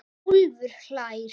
Úlfur hlær.